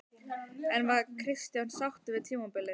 En var Kristján sáttur við tímabilið?